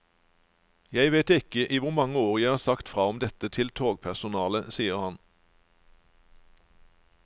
Jeg vet ikke i hvor mange år jeg har sagt fra om dette til togpersonalet, sier han.